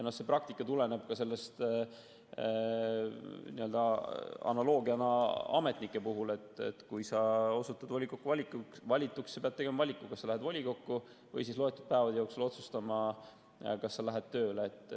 See praktika tuleneb ka analoogiast ametnikega: kui sa osutud volikokku valituks, pead sa tegema valiku, kas sa lähed volikokku või loetud päevade jooksul otsustad, et sa lähed tööle.